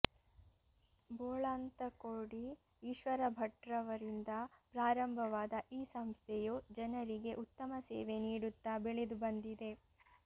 ಬೋಳಂತಕೋಡಿ ಈಶ್ವರ ಭಟ್ರವರಿಂದ ಪ್ರಾರಂಭವಾದ ಈ ಸಂಸ್ಥೆಯು ಜನರಿಗೆ ಉತ್ತಮ ಸೇವೆ ನೀಡುತ್ತಾ ಬೆಳೆದು ಬಂದಿದೆ